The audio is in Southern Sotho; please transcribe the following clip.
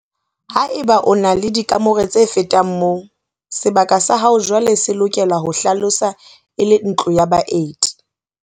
Haeba o na le dikamore tse fetang moo, sebaka sa hao jwaale se lokela ho hlaloswa e le ntlo ya baeti.